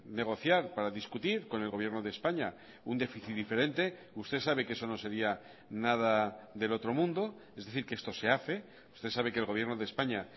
negociar para discutir con el gobierno de españa un déficit diferente usted sabe que eso no sería nada del otro mundo es decir que esto se hace usted sabe que el gobierno de españa